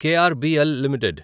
KRBL limited